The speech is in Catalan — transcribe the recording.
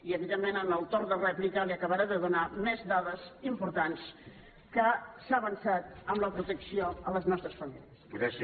i evidentment en el torn de rèplica li acabaré de donar més dades importants en què s’ha avançat en la protecció a les nostres famílies